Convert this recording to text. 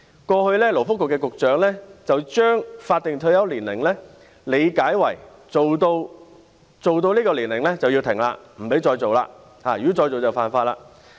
過去的勞工及福利局局長將法定退休年齡理解為，工作到這個年齡便須停下來，不可再工作，如果再工作，就是犯法。